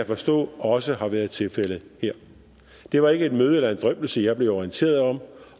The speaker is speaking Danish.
forstå også har været tilfældet her det var ikke et møde eller en drøftelse jeg blev orienteret om